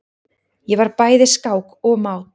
Ég var bæði skák og mát.